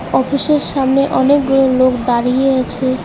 Office -এর সামনে অনেকগুলো লোক দাঁড়িয়ে আছে।